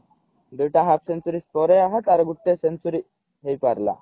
ଦୁଇଟା half century ପରେ ଆହା ତାର ଗୋଟେ century ହେଇପାରିଲା